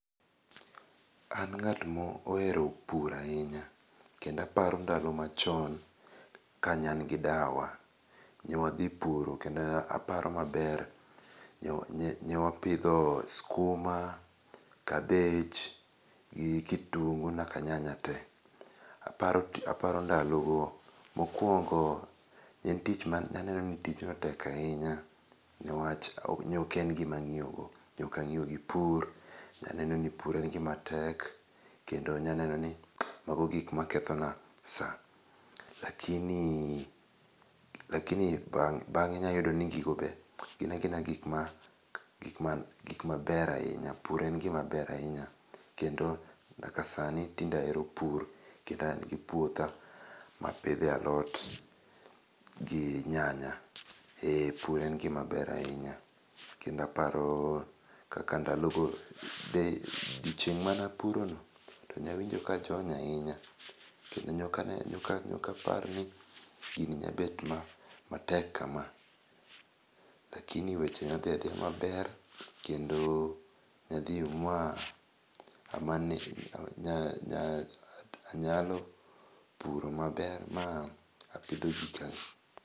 An ng'at mohero pur ahinya kendo aparo ndalo machon ka ne an gi dawa. Ne wadhi puro kendo aparo maber. Ne wapidho skuma, cabbage, gi kitungu nyaka nyanya te. Aparo ndalo go. Mokwongo ne aneno ni tijno tek ahinya. Newach ne ok en gima ang'iyogo. Ne ok ang'iyo gi pur. Ne aneno ni pur en gima tek. Kendo ne aneno ni mago gik ma ketho na sa. Lakini, lakini bang'e inyayudo ni gigi be gina agina gik maber ahinya. Puro en gima ber ahinya. Kendo nyaka sani tinde ahero pur kendo an gi puotha ma apidhe alot gi nyanya. E pur en gima ber ahinya. Kendo aparo kaka ndalogo. Odiochieng' manapurono to ne awinjo ka ajony ahinya kendo nok ane nok apar ni gini nyabet matek kama. Lakini weche ne odhi adhiya maber kendo ne wadhi ma anyalo puro maber ma apidho gika.